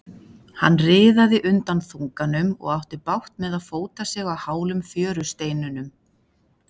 Hann riðaði undan þunganum og átti bágt með að fóta sig á hálum fjörusteinunum.